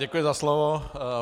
Děkuji za slovo.